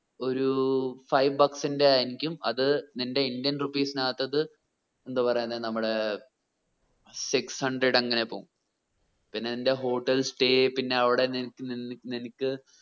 ഒരു five bucks ന്റെ ആയിരിക്കും അത് നിന്റെ ഇന്ത്യൻ rupees നത്തത് എന്തോ പറയുന്നേ നമ്മുടെ six hundred അങ്ങനെ പോവും പിന്നെ നിന്റെ hotel stay പിന്ന അവിടെ നിൻ നിൻ നിനിക്ക്